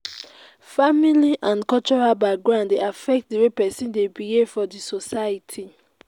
family and cultural background de affect di way persin de behave for di society